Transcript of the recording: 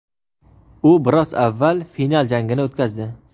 U biroz avval final jangini o‘tkazdi.